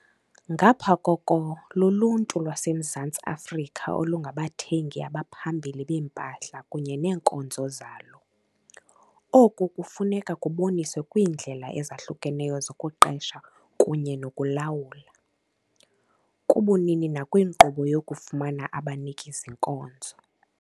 Ngapha koko, luluntu lwaseMzantsi Afrika olungabathengi abaphambili beempahla kunye neenkonzo zalo. Oku kufuneka kuboniswe kwiindlela ezahlukeneyo zokuqesha kunye nokulawula, kubunini nakwinkqubo yokufumana abaniki-zinkonzo.